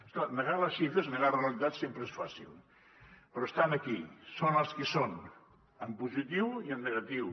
és clar negar les xifres negar la realitat sempre és fàcil però estan aquí són les que són en positiu i en negatiu